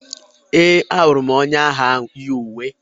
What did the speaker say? Ee, ahụrụ m onye agha ahụ yi uwe.